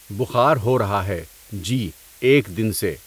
بُخار ہو رہا ہے جی ایک دِن سے۔